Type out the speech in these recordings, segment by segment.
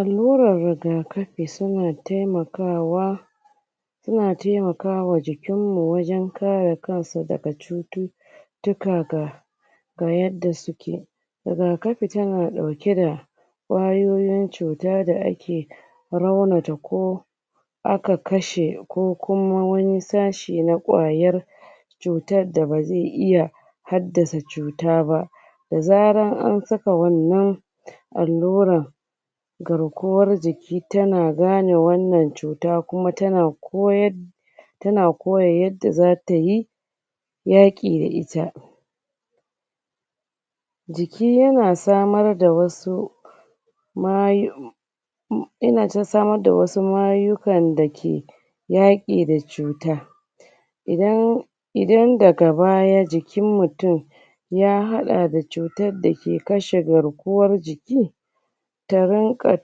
Allurar rigakafi, suna taimakawa suna taimakawa wa jikinmu wajan kare kansa daga cuttu tuka ga ga yada suke rigakafi tana ɗauke da kwayoyin cuta da ake raunata koh aka kashe kokuma wani sashe na kwayar cutar da ba ze iya haddasa cuta ba da zarar an saka wannan alluran garkuwan jiki tana gane wannan cuta kuma tana koyar tana koya yadda zata yi yaƙi da ita jiki yana samar da wasu yana samar da wasu mayukan dake yaƙi da cuta idan idan daga baya jikin mutum ya hadda da cutar dake kashe garkuwar jiki ta rinka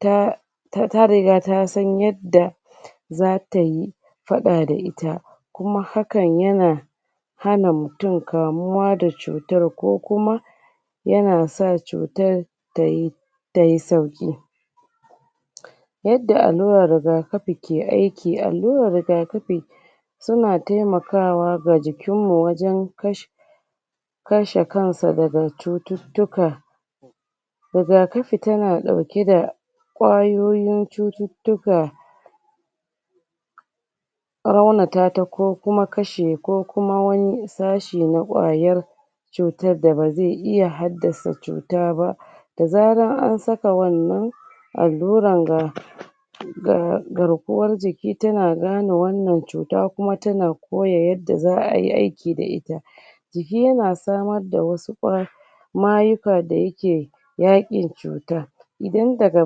ta ta riga ta san yadda zatayi faɗa da ita kuma hakan yana hana mutum kamuwa da cutar kokuma yana sa cutar tayi tayi sauƙi yadda allurar rigakafi ke aiki, allurar rigakafi suna taimakwa ga jikinmu wajan kashe kashe kansa daga cuttutuka rigakafi tana ɗauke da kayoyin cuttutuka raunatata kokuma kashe kokuma wani sashe na kwayar cutar da ba ze iya haddasa cuta ba da zarar an saka wannan alluran ga ga garkuwar jiki tana gane wannan cuta kuma tana koya yadda za'ayi aiki da ita jiki yana samar da wasu kwa mayuka da yake yakin cuta idan daga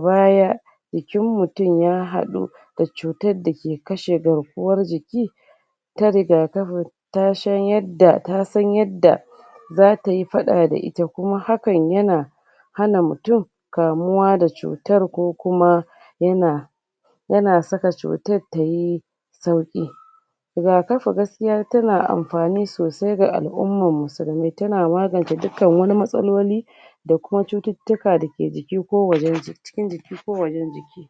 baya jikin mutum ya haɗu d cutar dake kashe garkuwar jiki ta rigakafi ta shan yadda ta tasan yadda zatayi faɗa da ita kuma hakan yana hana mutum kamuwar da cuttan kokuma yana yana saka cuttan tayi sauki rigakafi gaskiya tana amfani sosai ga al'ummaansa tana maganta dukkan wani matsaloli da ko cuttutukan dake jiki, ko wajan jiki cikin jiki ko wajan jiki.